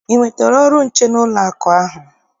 I nwetara ọrụ nche n'ụlọakụ ahụ?